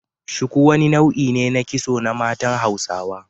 Shuku wani nau'I ne na kitso na matsan Hausawa.